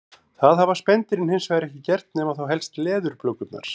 Það hafa spendýrin hins vegar ekki gert nema þá helst leðurblökurnar.